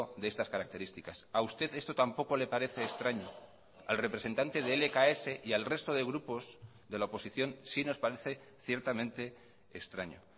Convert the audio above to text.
de estas características a usted esto tampoco le parece extraño al representante de lks y al resto de grupos de la oposición sí nos parece ciertamente extraño